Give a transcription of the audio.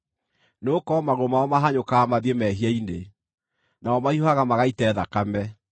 nĩgũkorwo magũrũ mao mahanyũkaga mathiĩ mehia-inĩ, nao mahiũhaga magaite thakame.